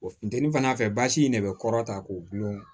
O funtɛni fana fɛ basi in de bɛ kɔrɔ ta k'o gulon